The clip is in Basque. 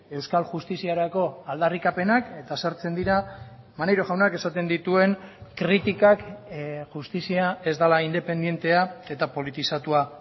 euskal justiziarako aldarrikapenak eta sartzen dira maneiro jaunak esaten dituen kritikak justizia ez dela independentea eta politizatua